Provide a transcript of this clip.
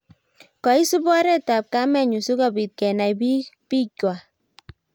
koisub oret ab kamenyuu sikobit kenai biik waak